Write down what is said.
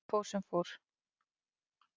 Samt fór sem fór.